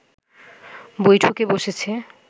বৈঠকে বসেছে